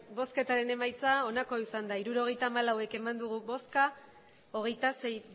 botoak hirurogeita hamalau bai hogeita sei